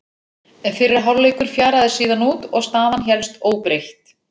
Fyrri hálfleikur fjaraði síðan út og staðan hélst óbreytt.